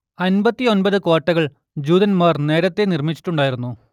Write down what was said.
അമ്പത്തി ഒമ്പത് കോട്ടകൾ ജൂതന്മാർ നേരത്തെ നിർമ്മിച്ചിട്ടുണ്ടായിരുന്നു